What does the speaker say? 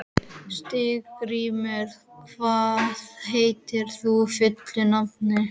Steingrímur, hvað heitir þú fullu nafni?